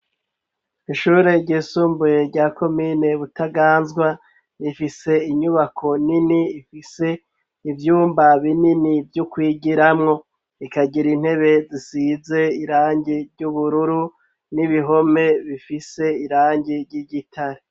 Ishure ryisumbuye rya komine butaganzwa ifise inyubako nini ifise ivyumba binini vy'ukwigiramwo ikagira intebe zisize irangi ry'ubururu n'ibihome bifise irangi ry'igitare.